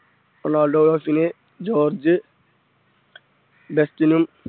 Ronaldo George ലെഫ്റ്റിനും